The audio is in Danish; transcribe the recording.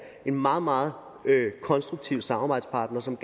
en meget meget konstruktiv samarbejdspartner som